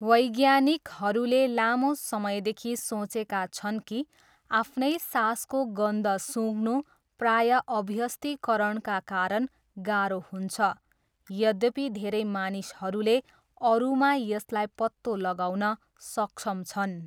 वैज्ञानिकहरूले लामो समयदेखि सोचेका छन् कि आफ्नै सासको गन्ध सुँघ्नु प्रायः अभ्यस्तीकरणका कारण गाह्रो हुन्छ, यद्यपि धेरै मानिसहरूले अरूमा यसलाई पत्तो लगाउन सक्षम छन्।